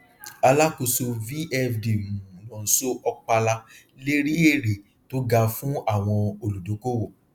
alákòóso vfd um nonso okpala lérí ère tó ga fún àwọn olùdókòwò